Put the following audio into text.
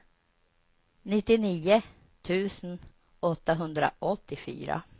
nittionio tusen åttahundraåttiofyra